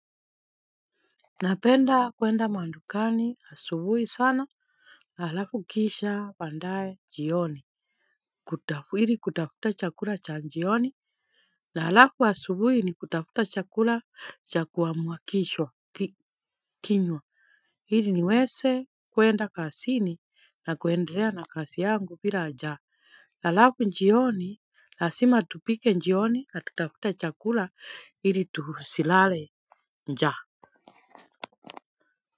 Napenda kuenda mandukani asubuhi sana la alafu kisha pandaye njioni. Hili kutafuta chakula cha njioni. La alafu asubuhi ni kutafuta chakula cha kuamuakishwa kinywa. Hili niweze kuenda kasi ni na kuendelea na kasi yangu pira aja. Alafu jioni lazima tupike jioni na tutafute chakula ili tusilale njaa.